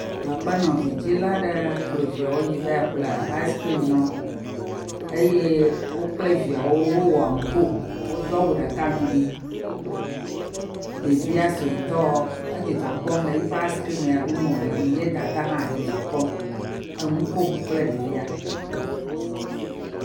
Aƒenɔ vidzila aɖe kplɔ viawo yi va ƒle ice cream na wo eye wo kple viawo wowɔ aŋko, wodo awu ɖeka ŋgbi ɖevia suetɔ edzidzɔ kpɔm le yi ƒe ice cream ya ɖum wòle la ŋu ye dada hã dzidzɔ kpɔm, enu kom kple ɖevia.